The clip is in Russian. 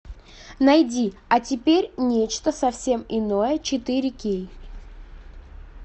найди а теперь нечто совсем иное четыре кей